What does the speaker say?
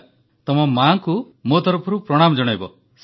କୃତିକା ଜୀ ଆପଣଙ୍କ ମାଆଙ୍କୁ ମୋ ତରଫରୁ ପ୍ରଣାମ ଜଣାଇବେ